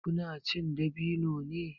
Ku na cin dabino ne?